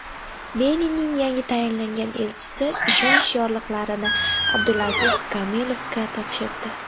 Beninning yangi tayinlangan elchisi ishonch yorliqlarini Abdulaziz Kamilovga topshirdi.